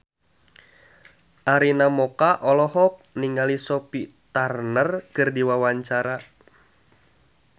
Arina Mocca olohok ningali Sophie Turner keur diwawancara